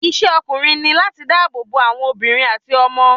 Isé ọkùnrin ní láti dá ààbò bo àwọn àwọn obìnrin àti ọmọ